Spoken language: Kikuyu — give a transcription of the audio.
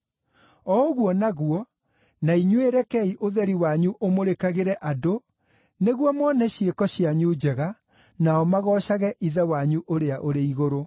O ũguo naguo, na inyuĩ rekei ũtheri wanyu ũmũrĩkagĩre andũ, nĩguo mone ciĩko cianyu njega, nao magoocage Ithe wanyu ũrĩa ũrĩ igũrũ.